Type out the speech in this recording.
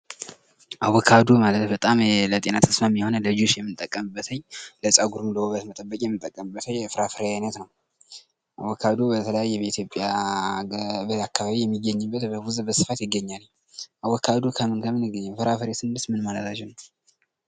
አቮካዶ ማለት በጣም ለጤና ተስማሚ የሆነ ዳጀስን የምጠቀምበትኝ ለፀጉበት ለውበት መጠበቅ የሚጠቀሙበትኝ የፍራፈሪ አይነት ነው አቮካዶ በተለያየ በኢትዮጵያ ገበሬ አካባቢ የሚገኝበት በደቡብ በስፋት ይገኛል። አቮካዶ ከምን ከምን ይገኛል? ፍራፍሬስ ስንል ምን ማለታችን ነው?